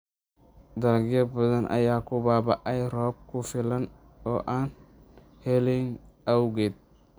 Dalagyo badan ayaa ku baaba�ay roob ku filan oo aan helin awgeed.